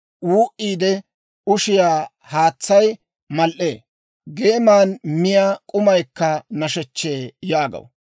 «Wuu"iide ushiyaa haatsay mal"ee; geeman miyaa k'umaykka nashechchee» yaagaw.